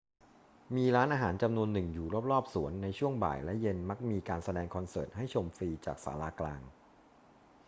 มีร้านอาหารจำนวนหนึ่งอยู่รอบ ๆ สวน ในช่วงบ่ายและเย็นมักมีการแสดงคอนเสิร์ตให้ชมฟรีจากศาลากลาง